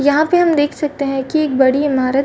यहां पे हम देख सकते हैं कि एक बड़ी इमारत --